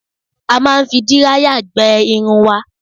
A máa ń fi díráyà gbẹ irun wa